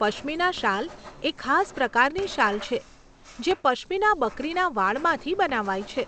પશ્મીના શાલ એ ખાસ પ્રકારની શાલ છે જે પશ્મીના બકરીના વાળમાંથી બનાવાય છે.